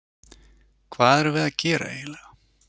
Hvað erum við að gera eiginlega?